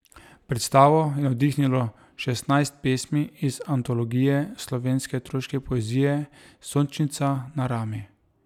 Predstavo je navdihnilo šestnajst pesmi iz antologije slovenske otroške poezije Sončnica na rami.